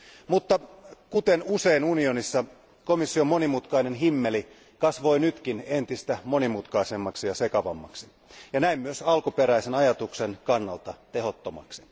Mutta kuten usein unionissa, komission monimutkainen himmeli kasvoi nytkin entistä monimutkaisemmaksi ja sekavammaksi ja näin myös alkuperäisen ajatuksen kannalta tehottomaksi.